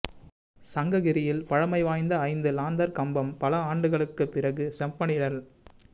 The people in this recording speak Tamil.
சங்ககிரியில் பழமை வாய்ந்த ஐந்து லாந்தா் கம்பம் பல ஆண்டுகளுக்குப் பிறகு செப்பனிடல்